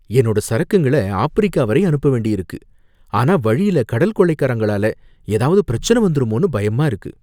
என்னோட சரக்குங்கள ஆப்பிரிக்கா வரை அனுப்ப வேண்டியிருக்கு, ஆனா வழில கடல் கொள்ளைக்காரங்களால ஏதாவது பிரச்சனை வந்துருமோன்னு பயமா இருக்கு.